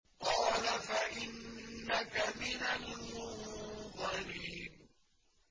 قَالَ فَإِنَّكَ مِنَ الْمُنظَرِينَ